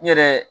N yɛrɛ